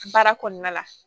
Baara kɔnɔna la